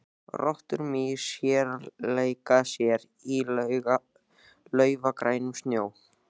Rottur, mýs og hérar leika sér í laufgrænum snjónum.